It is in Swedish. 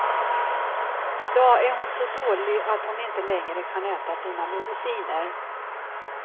I dag är hon så dålig att hon inte längre kan äta sina mediciner.